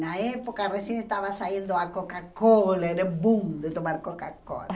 Na época, recém estava saindo a Coca-Cola, era boom de tomar Coca-Cola.